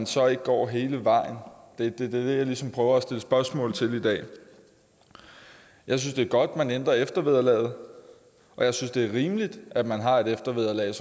så ikke går hele vejen det er det jeg ligesom prøver at stille spørgsmål til i dag jeg synes det er godt man ændrer eftervederlaget og jeg synes det er rimeligt at man har et eftervederlag